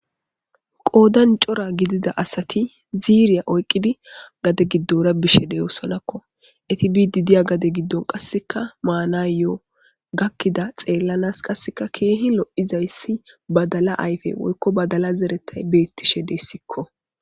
Qoodan cora gidida asati ziiriya oyqqidi gade giddora biishshe de'oosonakko eti bidi diya gade giddon qasseka maanayo gakkida xeellanas qasseka keehi lo'izayssi badala ayfe woykko badala zeretay beettishe deyssikko